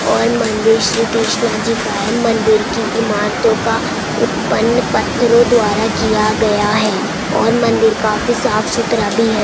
और मंदिर श्री कृष्णा जी का है मंदिर की इमारतों का उत्पन्न पत्रो द्वारा किया गया है और मंदिर काफ़ी साफ सुथरा भी है।